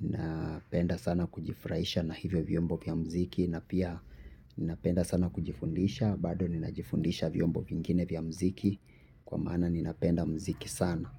Napenda sana kujifraisha na hivyo vyombo vya mziki. Napenda sana kujifundisha. Bado ninajifundisha vyombo vingine vya mziki. Kwa mana ninapenda mziki sana.